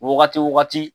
Wagati wo wagati